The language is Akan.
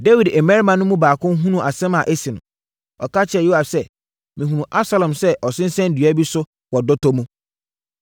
Dawid mmarima no baako hunuu asɛm a asi no, ɔka kyerɛɛ Yoab sɛ, “Mehunuu Absalom sɛ ɔsensɛn dua bi so wɔ dɔtɔ mu.”